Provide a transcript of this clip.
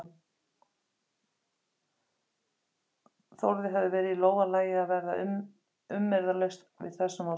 Þórði hefði verið í lófa lagið að verða umyrðalaust við þessum óskum.